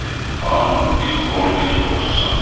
Hamı dilxor dilxorsan da.